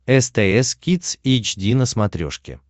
стс кидс эйч ди на смотрешке